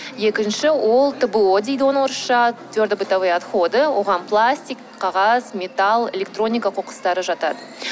екінші ол тбо дейді оны орысша твердобытовые отходы оған пластик қағаз металл электроника қоқыстары жатады